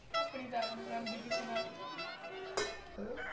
ਆਪਣੀ ਤਾਂ ਆਪ ਨਹੀਂ ਬਣਦੀ ਕਿਸੇ ਨਾਲ